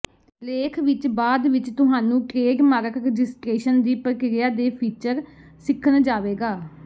ਲੇਖ ਵਿਚ ਬਾਅਦ ਵਿਚ ਤੁਹਾਨੂੰ ਟ੍ਰੇਡਮਾਰਕ ਰਜਿਸਟਰੇਸ਼ਨ ਦੀ ਪ੍ਰਕਿਰਿਆ ਦੇ ਫੀਚਰ ਸਿੱਖਣ ਜਾਵੇਗਾ